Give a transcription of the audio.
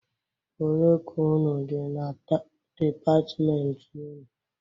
Olee k' unu dị na depatmenti ụnụ?